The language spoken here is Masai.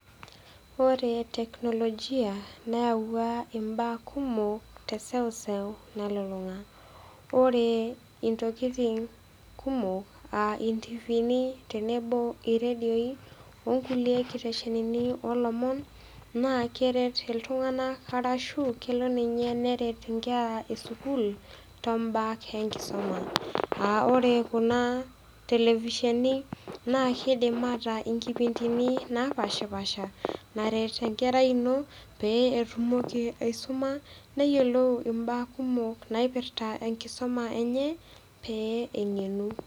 Ore technologia neyauwa imbaa kumok te eseuseu nalulung'a. Ore intokitin kumok aa intifiini, tenebo o redioi tenebo o nkulie kiteshenini oo lomon naa keret iltung'ana arashu kelo ninye neret inkera e sukuul too imbaa enkisuma, aa ore kuna telefisheni naa keidim ataa inkipindini napaashipasha, naret enkerai ino pee etumoki aisuma, neyiolou imbaa kumok naipirrta enkisoma enye pee eng'enu.